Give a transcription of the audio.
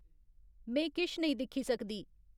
में किश नेईं दिक्खी सकदी